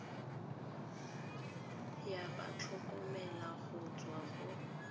ya batlhokomelo go tswa go